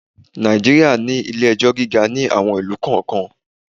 Nàìjíríà ní ilé-ẹjọ́ gíga ní àwon ìlú kọ̀ọ́kan.